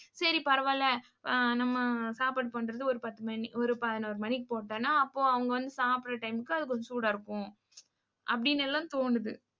சரி பரவால்ல, ஆஹ் நம்ம சாப்பாடு பண்றது ஒரு பத்து மணி ஒரு பதினோரு மணிக்கு போட்டோம்னா அப்போ அவங்க வந்து சாப்பிடுற time க்கு அது கொஞ்சம் சூடா இருக்கும். அப்படின்னு எல்லாம் தோணுது.